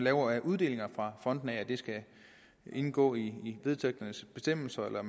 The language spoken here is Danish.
af uddelinger fra fondene at det skal indgå i vedtægternes bestemmelser eller at